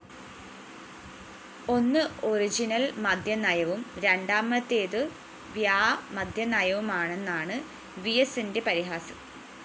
ഒന്ന് ഒറിജിനൽ മദ്യനയവും രണ്ടാമത്തേതു വ്യാമദ്യനയവുമാണെന്നാണു വിഎസിന്റെ പരിഹാസം